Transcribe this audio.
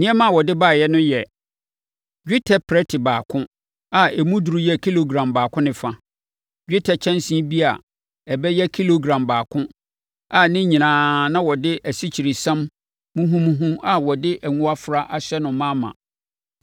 Nneɛma a ɔde baeɛ no yɛ: dwetɛ prɛte baako a emu duru yɛ kilogram baako ne fa, dwetɛ kyɛnsee bi a ɛbɛyɛ kilogram baako a ne nyinaa na wɔde asikyiresiam muhumuhu a wɔde ngo afra ahyɛ no ma ma.